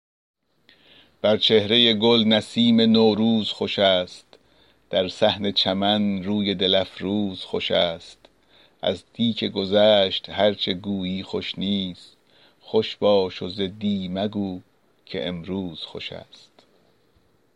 بر چهرۀ گل نسیم نوروز خوش است در صحن چمن روی دل افروز خوش است از دی که گذشت هر چه گویی خوش نیست خوش باش و ز دی مگو که امروز خوش است